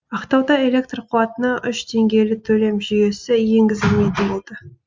ақтауда электр қуатына үш деңгейлі төлем жүйесі енгізілмейтін болды